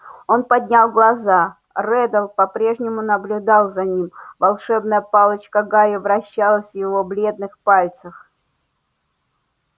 он поднял глаза реддл по-прежнему наблюдал за ним волшебная палочка гарри вращалась в его бледных пальцах